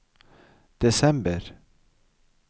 desember